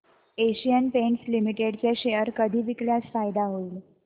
Asian paints limited चे share कधी विकल्यास फायदा होईल